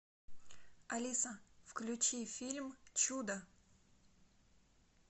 алиса включи фильм чудо